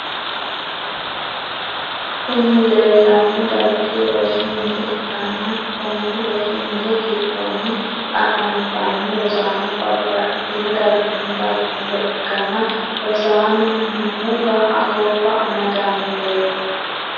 Kuni lelano darigi rosu mine ikana kooni rosi mini gidonni afanitano rosano babatitino darigini daginore ikana rosani nohunu ga’a goba amadanoret